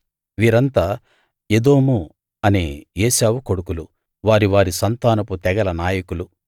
వీరంతా ఎదోము అనే ఏశావు కొడుకులు వారి వారి సంతానపు తెగల నాయకులు